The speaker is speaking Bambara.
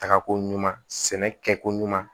Tagako ɲuman sɛnɛ kɛ ko ɲuman